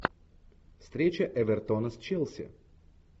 встреча эвертона с челси